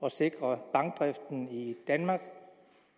at sikre bankdriften i danmark